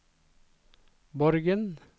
Borgen